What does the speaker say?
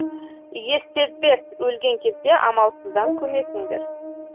иіссезбес өлген кезде амалсыздан көмесіңдер